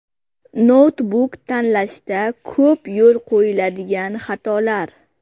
Noutbuk tanlashda ko‘p yo‘l qo‘yiladigan xatolar.